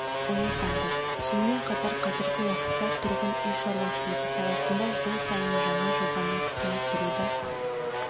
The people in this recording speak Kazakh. оятады сонымен қатар қазіргі уақытта тұрғын үй шаруашылығы саласында жыл сайын жаңа жобаны іске асыруды